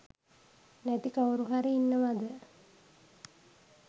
නැති කවුරුහරි ඉන්නවද?